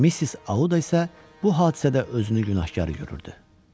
Missis Audu isə bu hadisədə özünü günahkar görürdü.